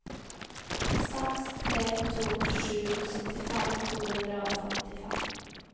seks tre to sju syttifem to hundre og femtifem